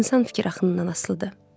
İnsan fikir axınından asılıdır.